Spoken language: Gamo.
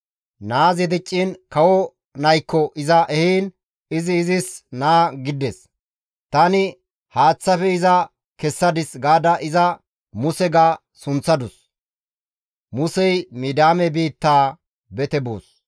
Naazi dicciin kawo naykko iza ehiin izi izis naa gidides; «Tani iza haaththafe kessadis» gaada iza Muse ga sunththadus.